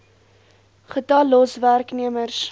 getal los werknemers